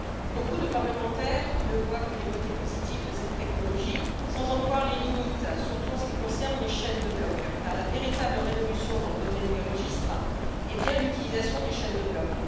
Beaucoup de parlementaires ne voient que les côtés positifs de cette technologie, sans en voir les limites, surtout en ce qui concerne les chaînes de blocs car la véritable révolution dans le domaine des registres est bien l'utilisation des chaînes de blocs.